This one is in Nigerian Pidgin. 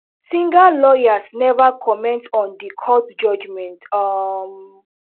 singa lawyers neva comment on di court judgement um